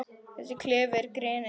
Þessi klefi er grenið.